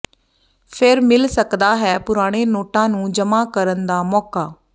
ਫਿਰ ਮਿਲ ਸਕਦਾ ਹੈ ਪੁਰਾਣੇ ਨੋਟਾਂ ਨੂੰ ਜਮ੍ਹਾਂ ਕਰਨ ਦਾ ਮੌਕਾ